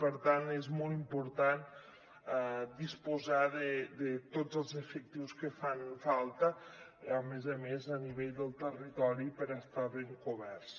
per tant és molt important disposar de tots els efectius que fan falta a més a més a nivell del territori per estar ben coberts